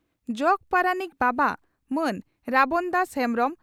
ᱡᱚᱜᱚ ᱯᱟᱨᱟᱱᱤᱠ ᱵᱟᱵᱟ ᱢᱟᱱ ᱨᱟᱵᱚᱱᱫᱟᱥ ᱦᱮᱢᱵᱽᱨᱚᱢ